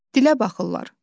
Dilə baxırlar.